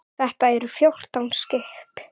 Þetta eru fjórtán skip.